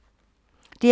DR P2